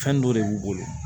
Fɛn dɔ de b'u bolo